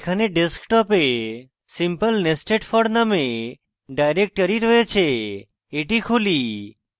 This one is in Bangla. এখানে ডেস্কটপে simplenestedfor named ডাইরেক্টরী রয়েছে এটি খুলি